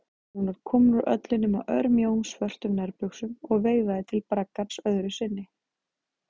Hún var komin úr öllu nema örmjóum, svörtum nærbuxum og veifaði til braggans öðru sinni.